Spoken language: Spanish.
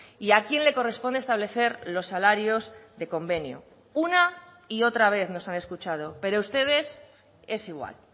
y a quién le corresponde establecer los salarios de convenio una y otra vez nos han escuchado pero ustedes es igual